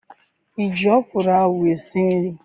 I ji ọkwụrụ ahụ esi nri?